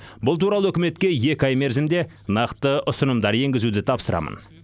бұл туралы үкіметке екі ай мерзімде нақты ұсынымдар енгізуді тапсырамын